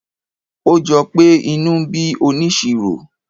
ó jọpé inú ń bí onisiro